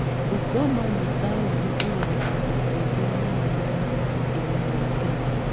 Bungoma nĩ taũni ĩrĩ na andũ aingĩ mũno mwena wa ithũĩro wa Kenya.